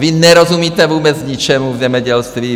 Vy nerozumíte vůbec ničemu v zemědělství.